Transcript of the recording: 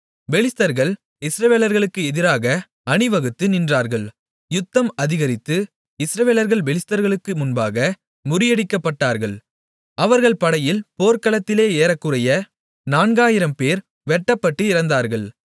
பெலிஸ்தர்கள் இஸ்ரவேலர்களுக்கு எதிராக அணிவகுத்து நின்றார்கள் யுத்தம் அதிகரித்து இஸ்ரவேலர்கள் பெலிஸ்தர்களுக்கு முன்பாக முறியடிக்கப்பட்டார்கள் அவர்கள் படையில் போர்க்களத்திலே ஏறக்குறைய நான்காயிரம்பேர் வெட்டப்பட்டு இறந்தார்கள்